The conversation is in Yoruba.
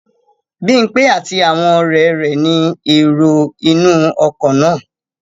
Bímpé àti àwọn ọ̀rẹ́ rẹ̀ ni èrò inú ọkọ̀ náà